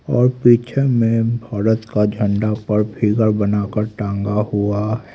और पिक्चर में भारत का झंडा पर फिगर बनाकर टांगा हुआ--